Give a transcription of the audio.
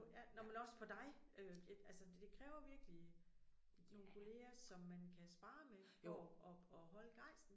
Ja nåh men også for dig. Øh ja altså det kræver virkelig nogen kolleger som man kan sparre med for at at holde gejsten